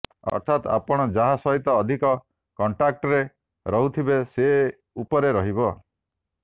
ଅର୍ଥାତ୍ ଆପଣ ଯାହା ସହିତ ଅଧିକ କଣ୍ଟାକ୍ଟରେ ରହୁଥିବେ ସେ ଉପରେ ରହିବ